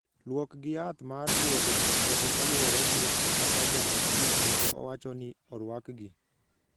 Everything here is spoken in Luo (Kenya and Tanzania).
Lwok gi yath mar lwoko gik moko kaluwore gi kaka jolos gik moko wacho ni orwakgi.